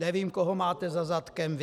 Nevím, koho máte za zadkem vy.